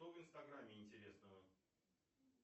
что в инстаграмме интересного